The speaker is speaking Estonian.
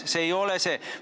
See ei ole see.